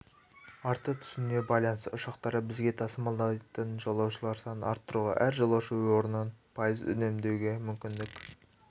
арта түсуіне байланысты ұшақтары бізге тасымалдайтын жолаушылар санын арттыруға әр жолаушы орнын пайыз үнемдеуге мүмкіндік